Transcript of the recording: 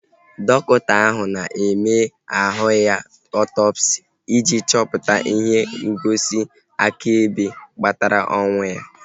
Dọkịta ahu na-eme ahụ ya ọtọpsi ị ji chọpụta ihe ngosi akaebe kpatara ọnwụ ya